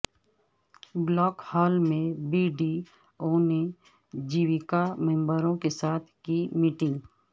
block hall میں B D O نے جیویکا ممبروں کے ساتھ کی میٹنگ